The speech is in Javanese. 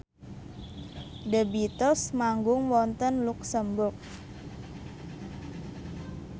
The Beatles manggung wonten luxemburg